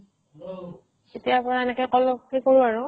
তেতিয়া পৰা এনেকে কে কৰোঁ আৰু